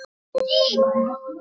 En hann er alltaf til.